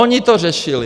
Oni to řešili.